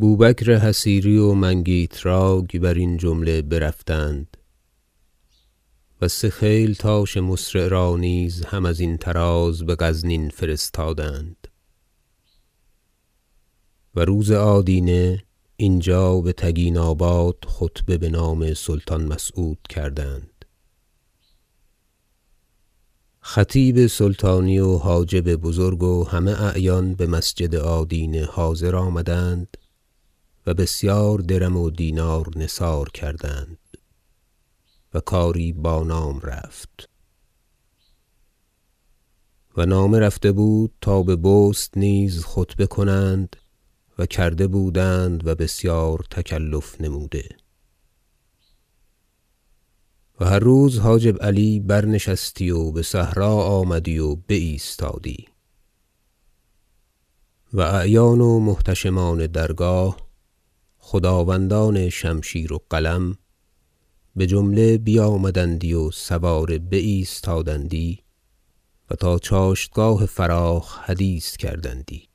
بوبکر حصیری و منگیتراک برین جمله برفتند و سه خیلتاش مسرع را نیز هم ازین طراز به غزنین فرستادند و روز آدینه اینجا به تگیناباد خطبه به نام سلطان مسعود کردند خطیب سلطانی و حاجب بزرگ و همه اعیان به مسجد آدینه حاضر آمدند و بسیار درم و دینار نثار کردند و کاری بانام رفت و نامه رفته بود تا به بست نیز خطبه کنند و کرده بودند و بسیار تکلف نموده و هر روز حاجب علی برنشستی و به صحرا آمدی و بایستادی و اعیان و محتشمان درگاه خداوندان شمشیر و قلم به جمله بیامدندی و سواره بایستادندی و تا چاشتگاه فراخ حدیث کردندی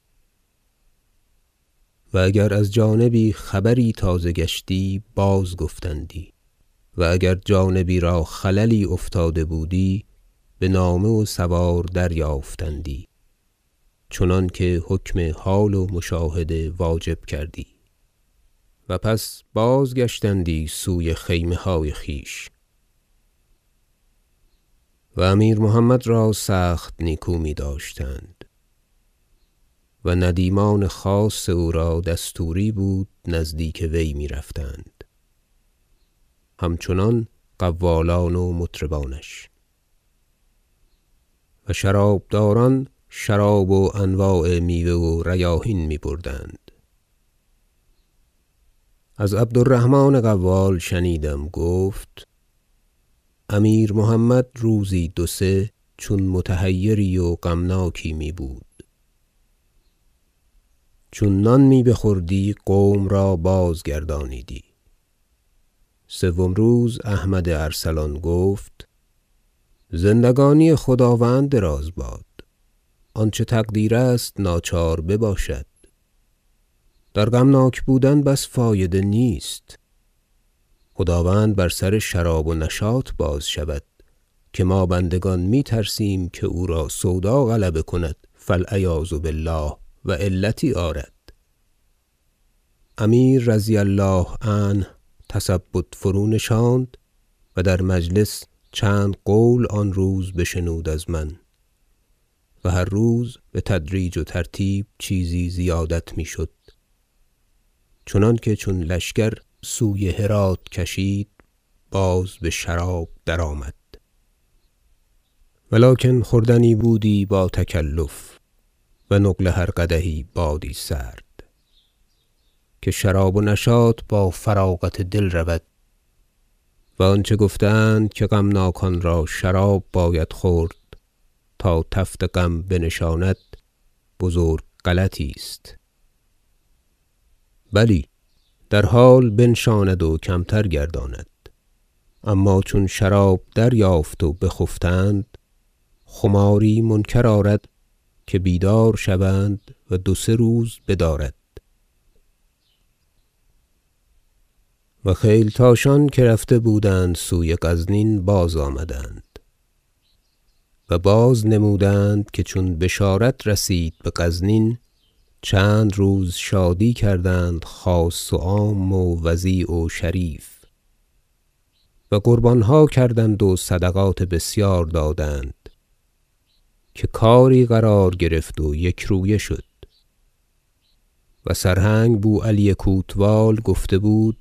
و اگر از جانبی خبری تازه گشتی بازگفتندی و اگر جانبی را خللی افتاده بودی به نامه و سوار دریافتندی چنانکه حکم حال و مشاهده واجب کردی و پس بازگشتندی سوی خیمه های خویش و امیر محمد را سخت نیکو می داشتند و ندیمان خاص او را دستوری بود نزدیک وی می رفتند همچنان قوالان و مطربانش و شرابداران شراب و انواع میوه و ریاحین می بردند از عبدالرحمن قوال شنیدم گفت امیر محمد روزی دو سه چون متحیری و غمناکی می بود چون نان می بخوردی قوم را بازگردانیدی سوم روز احمد ارسلان گفت زندگانی خداوند دراز باد آنچه تقدیر است ناچار بباشد در غمناک بودن بس فایده نیست خداوند بر سر شراب و نشاط بازشود که ما بندگان می ترسیم که او را سودا غلبه کند فالعیاذ بالله و علتی آرد امیر -رضي الله عنه- تثبط فرونشاند و در مجلس چند قول آن روز بشنود از من و هر روز به تدریج و ترتیب چیزی زیادت می شد چنانکه چون لشکر سوی هرات کشید باز به شراب درآمد ولکن خوردنی بودی با تکلف و نقل هر قدحی بادی سرد که شراب و نشاط با فراغت دل رود و آنچه گفته اند که غمناکان را شراب باید خورد تا تفت غم بنشاند بزرگ غلطی است بلی در حال بنشاند و کمتر گرداند اما چون شراب دریافت و بخفتند خماری منکر آرد که بیدار شوند و دو سه روز بدارد و خیلتاشان که رفته بودند سوی غزنین بازآمدند و بازنمودند که چون بشارت رسید به غزنین چند روز شادی کردند خاص و عام و وضیع و شریف و قربانها کردند و صدقات بسیار دادند که کاری قرار گرفت و یکرویه شد و سرهنگ بوعلی کوتوال گفته بود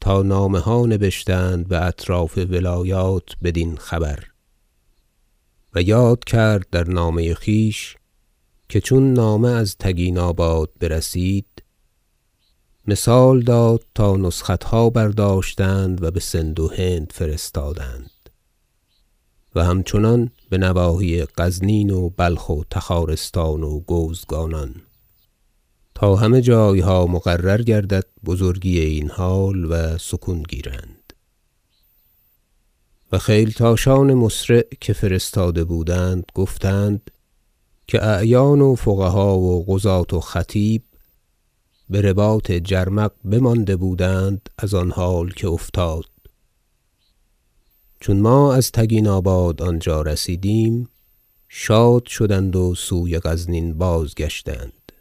تا نامه ها نبشتند به اطراف ولایات بدین خبر و یاد کرد در نامه خویش که چون نامه از تگیناباد برسید مثال داد تا نسختها برداشتند و به سند و هند فرستادند و همچنان به نواحی غزنین و بلخ و تخارستان و گوزگانان تا همه جایها مقرر گردد بزرگی این حال و سکون گیرند و خیلتاشان مسرع که فرستاده بودند گفتند که اعیان و فقها و قضات و خطیب به رباط جرمق بمانده بودند از آن حال که افتاد چون ما از تگیناباد آنجا رسیدیم شاد شدند و سوی غزنین بازگشتند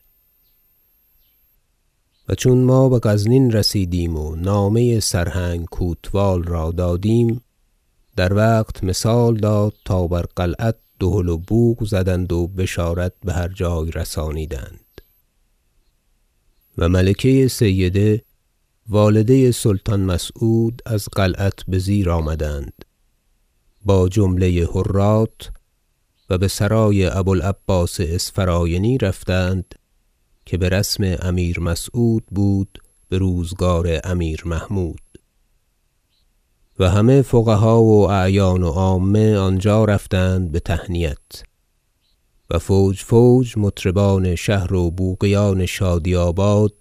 و چون ما به غزنین رسیدیم و نامه سرهنگ کوتوال را دادیم در وقت مثال داد تا بر قلعت دهل و بوق زدند و بشارت به هر جای رسانیدند و ملکه سیده والده سلطان مسعود از قلعت به زیر آمدند با جمله حرات و به سرای ابوالعباس اسفراینی رفتند که به رسم امیر مسعود بود به روزگار امیر محمود و همه فقها و اعیان و عامه آنجا رفتند به تهنیت و فوج فوج مطربان شهر و بوقیان شادی آباد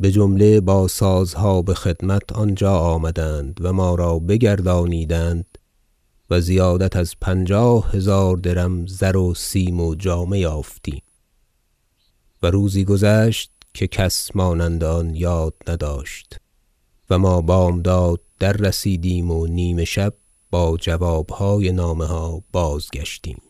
به جمله با سازها به خدمت آنجا آمدند و ما را بگردانیدند و زیادت از پنجاه هزار درم زر و سیم و جامه یافتیم و روزی گذشت که کس مانند آن یاد نداشت و ما بامداد دررسیدیم و نیمه شب با جوابهای نامه ها بازگشتیم